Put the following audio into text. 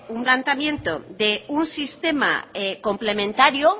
un planteamiento de un sistema complementario